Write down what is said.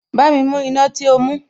Bámi mú iná tí o mú